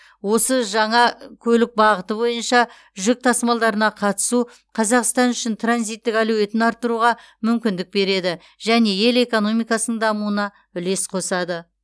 осы жаңа көлік бағыты бойынша жүк тасымалдарына қатысу қазақстан үшін транзиттік әлеуетін арттыруға мүмкіндік береді және ел экономикасының дамуына үлес қосады